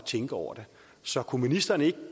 tænke over det så kunne ministeren ikke